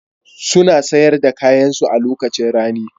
Suna sayar da kayansu a lokacin rani.